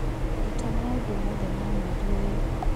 rũta maũndũ mothe ma mweri ũyũ